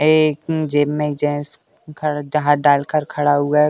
अेेेे एक जेब में जेन्स खड़ हाथ डाल कर खड़ा हुआ है।